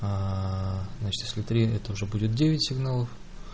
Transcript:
а значит если три это уже будет девять сигналов